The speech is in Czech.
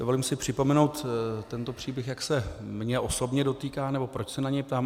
Dovolím si připomenout tento příběh, jak se mě osobně dotýká, nebo proč se na něj ptám.